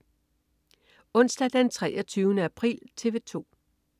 Onsdag den 23. april - TV 2: